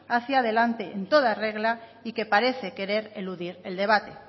hacia delante en toda regla y que parece querer eludir el debate